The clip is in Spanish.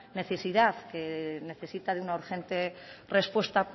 necesidad que necesita de urgente respuesta